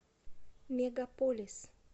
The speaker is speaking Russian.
мегаполис